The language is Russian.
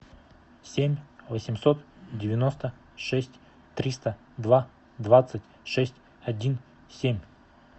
семь восемьсот девяносто шесть триста два двадцать шесть один семь